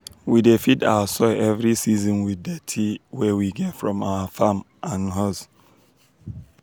we dey feed our soil every season with dirty wey we get from our farm and huz.